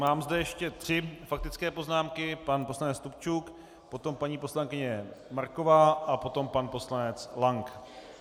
Mám zde ještě tři faktické poznámky - pan poslanec Stupčuk, potom paní poslankyně Marková a potom pan poslanec Lank.